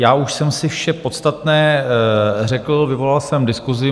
Já už jsem si vše podstatné řekl, vyvolal jsem diskusi.